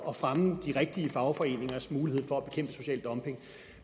at fremme de rigtige fagforeningers mulighed for at bekæmpe social dumping